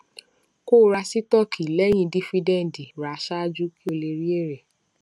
kó ra sítọọkì lẹyìn dífídẹǹdì ra ṣáájú kí o lè rí èrè